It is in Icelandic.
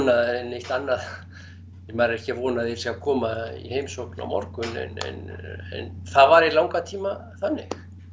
eða neitt annað maður er ekki að vona lengur að þeir séu að koma í heimsókn á morgun en það var í langan tíma þannig